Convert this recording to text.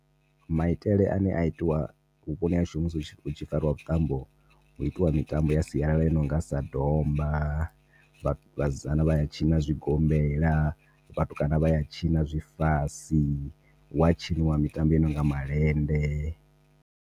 Maitele ane a itiwa vhuponi hashu musi hu tshi fariwa vhuṱambo hu itiwa mitambo ya sialala i nonga sa domba vhasidzana vha ya tshina zwigombela vhatukana vhaya tshina zwifasi hu ya tshiniwa mitambo i nonga malende.